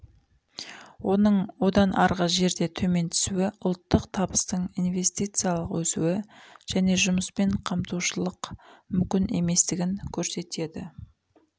оның одан арғы жерде төмен түсуі ұлттық табыстың инвестициялық өсуі және жұмыспен қамтылушылық мүмкін еместігін көрсетеді